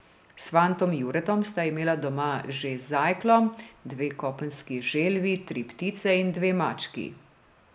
S fantom Juretom sta imela doma že zajkljo, dve kopenski želvi, tri ptice in dve mački.